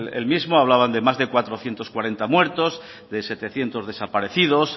el mismo hablaban de más de cuatrocientos cuarenta muertos de setecientos desaparecidos